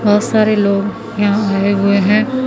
बहोत सारे लोग यहां आये हुए है।